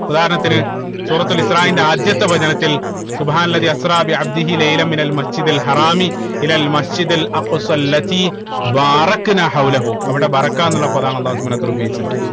ഉദാഹരണത്തിന് സൂറത്തുൽ ഇസ്രാഈൽന്റെ ആദ്യത്തെ വചനത്തിൽ Masjid Masjid അവിടെ എന്ന പദമാണ് അള്ളാഹു സുബ്‌ഹാനഉ വതാല ഉപയോഗിച്ചത്